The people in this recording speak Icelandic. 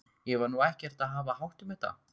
Ég var nú ekkert að hafa hátt um þetta.